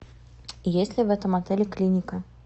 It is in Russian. есть ли в этом отеле клиника